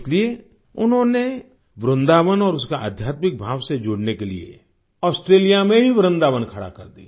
इसलिए उन्होने वृंदावन और उसका आध्यात्मिक भाव से जुडने के लिए ऑस्ट्रेलिया में ही वृन्दावन खड़ा कर दिया